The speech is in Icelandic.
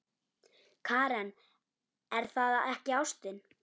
Karen: Er það ekki ástin?